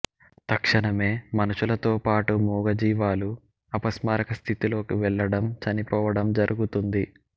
తక్షణమే మనషులతో పాటు మూగ జీవాలు అపస్మారక స్థితిలోకి వెళ్లడం చనిపోవడం జరుగుతుంది